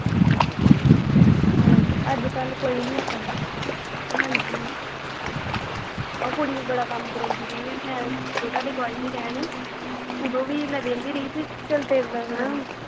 ਹਾਂਜੀ ਅੱਜ ਕੱਲ ਕੋਈ ਨਹੀਂ ਆਪਣਾ ਹਾਂਜੀ ਓਹ ਕੁੜੀ ਵੀ ਬੜਾ ਕੰਮ ਕਰਾਉਂਦੀ ਰਹੀ ਆ ਮੈਂ ਜਦੋਂ ਤੁਹਾਡੇ ਕੋਲ ਆਈ ਸੀ ਰਹਿਣ ਤੇ ਉਦੋਂ ਵੀ ਮੈਂ ਵੇਹਦੀ ਰਹੀ ਬੀ ਚੱਲ ਤੇਰੇ ਨਾਲ ਨਾਂ।